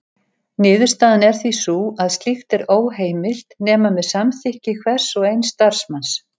Niðurstaðan er því sú að slíkt er óheimilt nema með samþykki hvers og eins starfsmanns.